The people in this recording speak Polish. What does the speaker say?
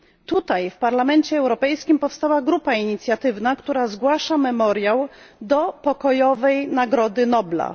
Tutaj, w Parlamencie Europejskim, powstała grupa inicjatywna, która zgłasza Memoriał do Pokojowej Nagrody Nobla.